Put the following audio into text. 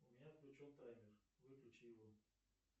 у меня включен таймер выключи его